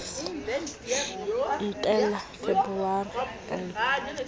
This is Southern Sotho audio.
entela feberu e tshehla ha